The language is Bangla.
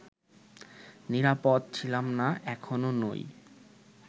নিরাপদ ছিলাম না, এখনও নই